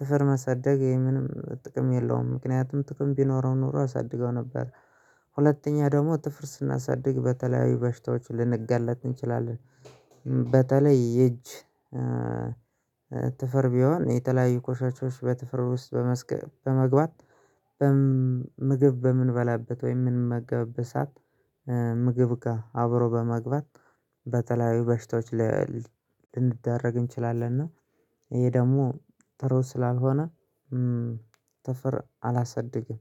ጥፍር መሰደግ ይሄ ምንም ጥቅም የለውም ምክንያቱም ጥቅም ቢኖረው ኖሮ አሳድገው ነበር። ሁለተኛ ደግሞ ጥፍርስና ሳድግ በተለያዊ በሽታዎች ልንጋለጥ እንችላለን። በተለይ የእጅ ጥፍር ቢሆን የተለያዩ ቆሻሾች በጥፍር ውስጥ በመግባት ምግብ በምንበላበት ወይም ምንመገበብበት ሰዓት። ምግብ ጋር አብሮ በመግባት በተለያዩ በሽታዎች ላይ ልንደረግ እንችላለን። እና ይሄ ደግሞ ጥሩ ስላልሆነ ጥፍር አላሳድግም።